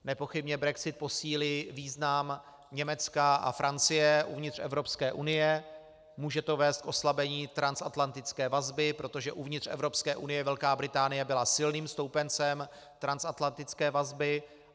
Nepochybně brexit posílí význam Německa a Francie uvnitř Evropské unie, může to vést k oslabení transatlantické vazby, protože uvnitř Evropské unie Velká Británie byla silným stoupencem transatlantické vazby.